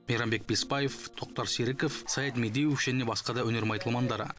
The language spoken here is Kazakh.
мейрамбек бесбаев тоқтар серіков саят медеуов және басқа да өнер майталмандары